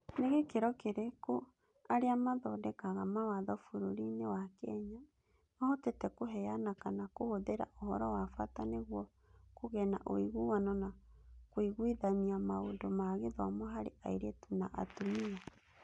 Nĩ gĩkĩro kĩrĩkũ arĩa mathondekaga mawatho bũrũri-inĩ wa Kenya mahotete kũheana kana kũhũthĩra ũhoro wa bata nĩguo kũgĩe na ũiguano na kũiguithania maũndũ ma gĩthomo harĩ airĩtu na atumia?